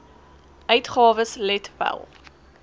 uitgawes let wel